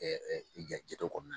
jate dɔ kɔnɔna na